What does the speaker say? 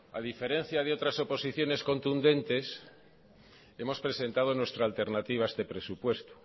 a diferencia de otras oposiciones contundentes hemos presentado nuestra alternativa a este presupuesto